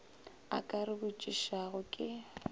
a ka re botšišago ke